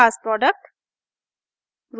class product